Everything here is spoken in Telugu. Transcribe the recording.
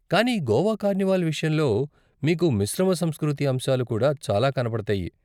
కానీ గోవా కార్నివాల్ విషయంలో, మీకు మిశ్రమ సంస్కృతి అంశాలు కూడా చాలా కనపడతాయి.